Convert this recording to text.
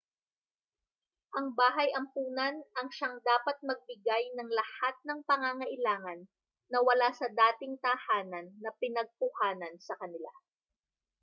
ang bahay-ampunan ang siyang dapat magbigay ng lahat ng pangangailangan na wala sa dating tahanan na pinagkuhaan sa kanila